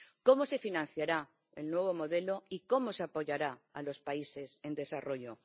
¿Cómo se financiará el nuevo modelo y cómo se apoyará a los países en desarrollo?